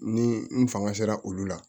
Ni n fanga sera olu la